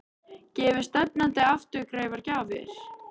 Gefi stefnandi afturkræfar gjafir?